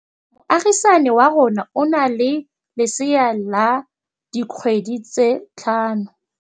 Moagisane wa rona o na le lesea la dikgwedi tse tlhano.